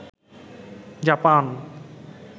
Japan